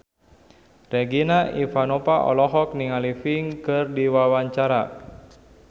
Regina Ivanova olohok ningali Pink keur diwawancara